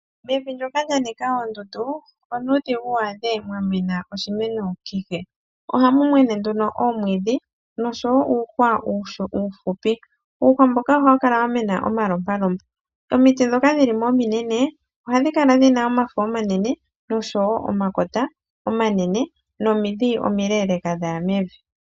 Mevi ndyoka lyanika oondundu onuudhigu waadhemo oshimeno kehe, ohamu mene nduno omwiidhi oshowo uuhwa uufupi hawu mene waninga omalompa lompa omiti ndhoka ndhili mo ominene ohadhi Kala dhina omafo omanene, omakota omanene oshowo omidhi omileeleka dhaya mevi.